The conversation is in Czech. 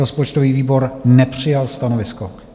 Rozpočtový výbor nepřijal stanovisko.